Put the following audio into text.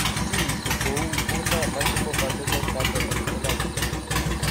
Kiinti ko wuuy nee multiple familial trichoepithelioma?